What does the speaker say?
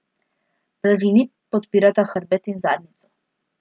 Blazini podpirata hrbet in zadnjico.